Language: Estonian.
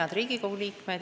Head Riigikogu liikmed!